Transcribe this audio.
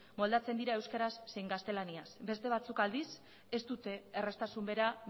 moldatzen dira euskaraz zein gaztelaniaz beste batzuk aldiz ez dute erraztasun bera